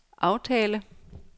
aftale